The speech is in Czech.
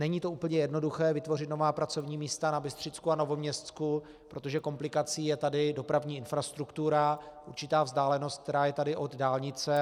Není to úplně jednoduché vytvořit nová pracovní místa na Bystřicku a Novoměstsku, protože komplikací je tady dopravní infrastruktura, určitá vzdálenost, která tady je od dálnice.